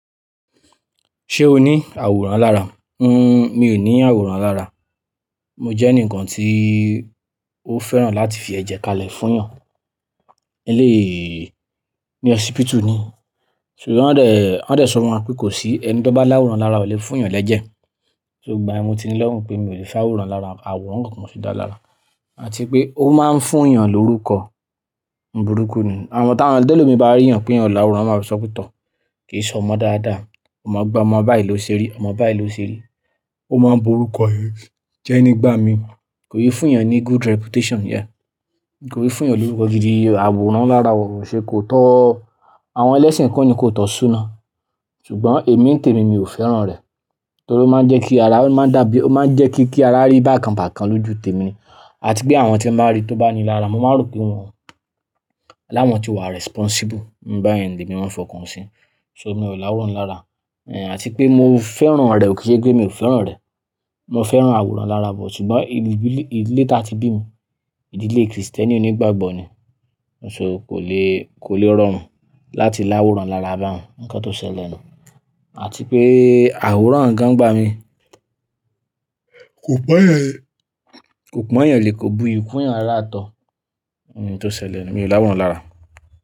Ṣé o ní àwòrán lára? N-- mi ò ní àwòrán lára. Mo jẹ́ ẹnìkan tí ó fẹ́ràn láti fi ẹ̀jẹ̀ kalẹ̀ fún èèyàn. Ilé mi hospital ni, ṣùgbọ́n wọ́n dẹ̀, wọ́n dẹ̀ sọ wọ́n pé kò sí ẹni tó bá láwòrán lára ọ lè fún èèyàn lẹ́jẹ̀. Ṣùgbọ́n èmi ti ní lọ́hùn pé mi ò lè fá àwòrán lára, àwòrán kankan kọ́ mo sì dá lára. Àti pé ó máa ń fún èèyàn lórúkọ ń burúkú ni. Àwọn tàwọn ọ̀dọ́ ìlú mi bá rí yàn pé yàn láwòrán, wọ́n máa ń sọ pé tọ̀, kì í sọ ọmọ dáadáa, ọmọ gba ọmọ báyìí ló ṣe rí, ọmọ báyìí ló ṣe rí. Ó máa ń burúkọ ẹni jẹ́ nígbà mi. Kò yẹ fún èèyàn ní good reputation yẹn. Kò yẹ fún èèyàn lórúkọ gidi. Àwòrán lára wọ̀, ṣe kò tọ́ àwọn ẹlẹ́sìn kọ́ ni kò tọ́ súna. Ṣùgbọ́n èmi ń tèmi mi ò fẹ́ràn rẹ̀. Nítorí ó máa ń jẹ́ kí ara, ó máa ń dàbí, ó máa ń jẹ́ kí, kí ara rí bákan bákan lójú tèmi. Àti pé àwọn tí ẹ máa rí tó bá ní i lára, mo máa rò pé wọ́n láwọn tí wà responsible. Báyẹ́ń ni èmi má ń fi ọkàn sí. Ṣo mi ò láwòrán lára. Eh àti pé mo fẹ́ràn rẹ̀ ò kí ṣe pé mi ò fẹ́ràn rẹ̀. Mo fẹ́ràn àwòrán lára bọ̀ ṣùgbọ́n ibi bí i, ìdílé tí a ti bí mi, ìdílé Kristẹni onígbàgbọ́ ni. So kò le, kò le rọ̀ mún láti láwòrán lára bá n. Ǹkan tó ṣẹlẹ̀ nù. Àti pé àwòrán gan nígbà mi kò pọn èèyàn, kò pọn èèyàn le kò buyù kún èèyàn rárà tó. Ǹkan tó ṣẹlẹ̀ ni. Mi ò láwòrán lára.